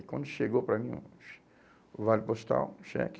Aí quando chegou para mim o o vale postal, cheque,